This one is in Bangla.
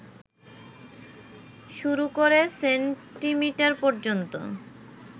শুরু করে সেন্টিমিটার পর্যন্ত